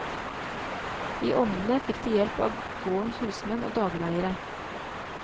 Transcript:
I onnene fikk de hjelp av gårdens husmenn og dagleiere.